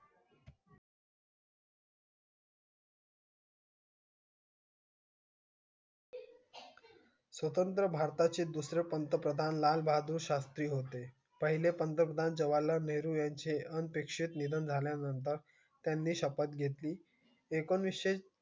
स्वत्रत्र भरताचे पंत प्रतनलाल बहादुर शात्री होते पहिले पंत प्रतन जवललाल नेहरू यांचे अनपेक्षे जनार यांचे त्यानी शपत घेतली एकोणीसशे